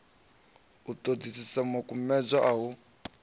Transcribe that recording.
u ṱoḓisisa makumedzwa a u